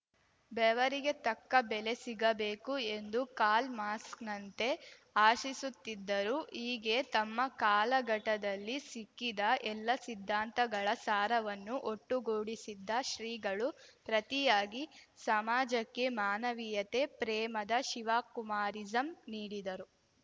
ಬೆವರಿಗೆ ತಕ್ಕ ಬೆಲೆ ಸಿಗಬೇಕು ಎಂದೂ ಕಾಲ್ ಮಾಸ್ಕ್ ನಂತೆ ಆಶಿಸುತ್ತಿದ್ದರು ಹೀಗೆ ತಮ್ಮ ಕಾಲಘಟದಲ್ಲಿ ಸಿಕ್ಕಿದ ಎಲ್ಲಾ ಸಿದ್ಧಾಂತಗಳ ಸಾರವನ್ನು ಒಟ್ಟುಗೂಡಿಸಿದ್ದ ಶ್ರೀಗಳು ಪ್ರತಿಯಾಗಿ ಸಮಾಜಕ್ಕೆ ಮಾನವೀಯತೆ ಪ್ರೇಮದ ಶಿವಕುಮಾರಿಸಂ ನೀಡಿದರು